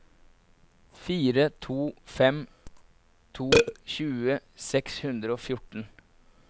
fire to fem to tjue seks hundre og fjorten